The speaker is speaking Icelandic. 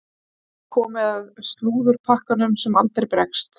Það er komið að slúðurpakkanum sem aldrei bregst.